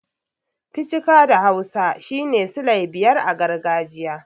Ficika' da hausa shine sile biyar a gargajiya.